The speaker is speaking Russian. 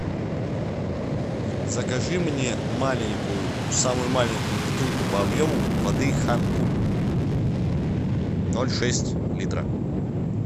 закажи мне маленькую самую маленькую бутылку по объему воды хан куль ноль шесть литра